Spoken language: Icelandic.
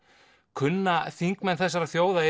kunna þingmenn þessarar þjóðar